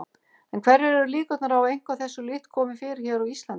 En hverjar eru líkurnar á að eitthvað þessu líkt komi fyrir hér á Íslandi?